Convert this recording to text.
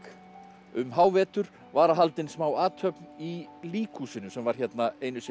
um hávetur var haldin smá athöfn í líkhúsinu sem var hérna einu sinni